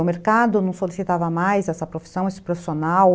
O mercado não solicitava mais essa profissão, esse profissional?